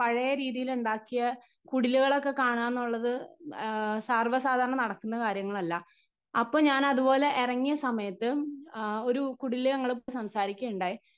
Speaker 1 പഴയ രീതിയിലുണ്ടാക്കിയ കുടിലുകളൊക്കെ കാണാനുള്ളത് ആ സർവസാധാരണ നടക്കുന്ന കാര്യങ്ങളല്ല അപ്പൊ ഞാനതുപോലെ ഇറങ്ങിയ സമയത്ത് ആ ഒരു കുടിലില് ഞങ്ങള് സംസാരിക്കയുണ്ടായി.